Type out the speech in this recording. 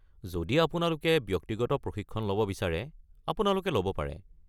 যদি আপোনালোকে ব্যক্তিগত প্ৰশিক্ষণ ল'ব বিচাৰে, আপোনালোকে ল'ব পাৰে।